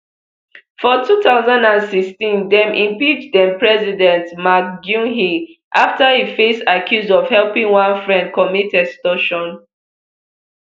for two thousand and sixteen dem impeach denpresident park geunhye afta e face accuse of helping one friend commit extortion